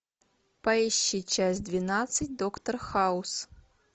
поищи часть двенадцать доктор хаус